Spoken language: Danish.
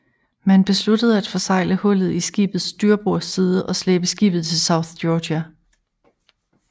Man besluttede at forsegle hullet i skibets styrbord side og slæbe skibet til South Georgia